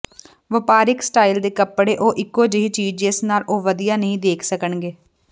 ਵਪਾਰਕ ਸਟਾਈਲ ਦੇ ਕੱਪੜੇ ਉਹ ਇਕੋ ਜਿਹੀ ਚੀਜ ਜਿਸ ਨਾਲ ਉਹ ਵਧੀਆ ਨਹੀਂ ਦੇਖ ਸਕਣਗੇ